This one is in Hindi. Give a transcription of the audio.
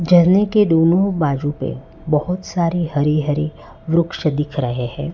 झरने के दोनों बाजू पे बहोत सारी हरी हरी वृक्ष दिख रहे हैं।